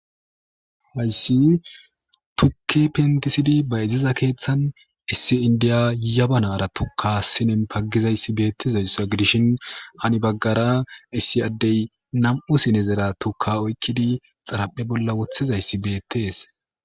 Hayssi tukke pentisidi ba iziza keeththan issi indiya yaba nara tukasinen paggizayssi beettizayssa gidishin hani baggara issi addey nam7u sinezera tukka oykkidi xaraphe bolla woththizayssi beettees